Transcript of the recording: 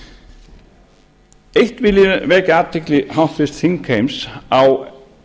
ráðherra eins vil ég vekja athygli háttvirtra þingheims á